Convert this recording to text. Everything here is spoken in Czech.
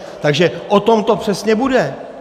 Takže o tom to přesně bude!